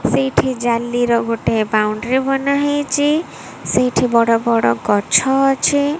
ସେଇଠି ଜାଲିର ଗୋଟେ ବାଉଣ୍ଡ୍ରୀ ବନା ହେଇଚି ସେଇଠି ବଡ଼ ବଡ଼ ଗଛ ଅଛି।